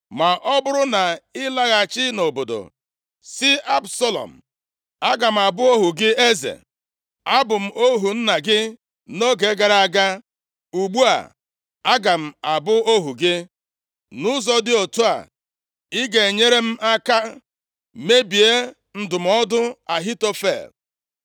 Ma ọ bụrụ na ị laghachi nʼobodo, sị Absalọm, ‘Aga m abụ ohu gị, eze. Abụ m ohu nna gị nʼoge gara aga, ugbu a aga m abụ ohu gị.’ Nʼụzọ dị otu a ị ga-enyere m aka mebie ndụmọdụ Ahitofel.